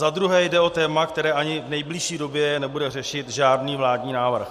Za druhé jde o téma, které ani v nejbližší době nebude řešit žádný vládní návrh.